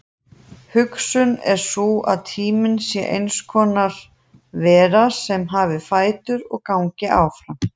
Hugsunin er sú að tíminn sé eins konar vera sem hafi fætur og gangi áfram.